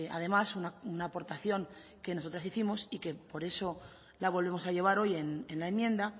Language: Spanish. además una aportación que nosotras hicimos y que por eso la volvemos a llevar hoy en la enmienda